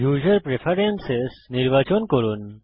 উসের preference নির্বাচন করুন